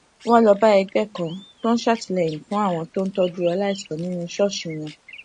wón lọ bá ẹgbé kan tó ń ṣàtìléyìn fún àwọn tó ń tójú aláìsàn nínú ṣóòṣì wọn